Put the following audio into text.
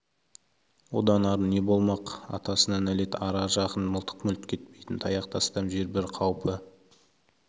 одан ары не болмақ атасына нәлет ара жақын мылтық мүлт кетпейтін таяқ тастам жер бір қаупі